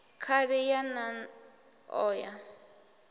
khali ya nan o ya